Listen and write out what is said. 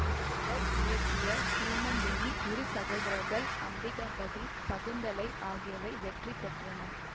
அவர் இயக்கிய சீமந்தினி இரு சகோதரர்கள் அம்பிகாபதி சகுந்தலை ஆகியவை வெற்றி பெற்றன